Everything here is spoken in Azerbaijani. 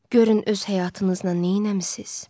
Görün öz həyatınızla nə etmisiz?